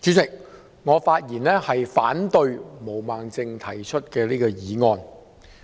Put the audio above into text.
主席，我發言反對毛孟靜議員提出的議案。